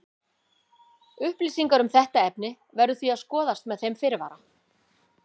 Upplýsingar um þetta efni verður því að skoðast með þeim fyrirvara.